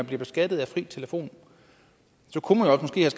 bliver beskattet af fri telefon